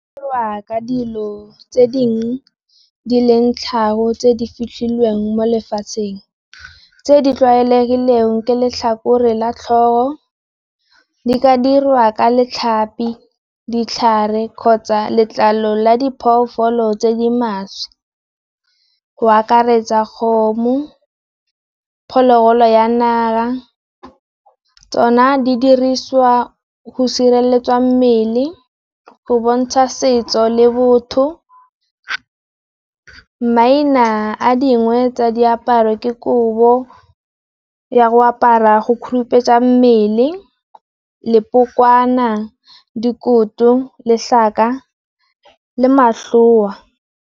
Dirwa ka dilo tse dingwe di leng tlhago tse di fitlhileng mo lefatsheng. Tse di tlwaelegileng ke letlhakore la tlhogo, di ka dirwa ka letlhapi, ditlhare, kgotsa letlalo la diphologolo tse di maswe. Go akaretsa kgomo, phologolo ya naga, tsona di diriswa go sireletsa mmele, go bontsha setso, le botho. Maina a dingwe tsa diaparo ke kobo ya go apara go khurumetsa mmele lepokwana, dikoto letlhaka le mahloa.